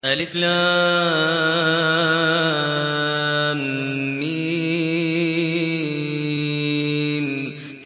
الم